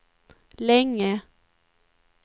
länge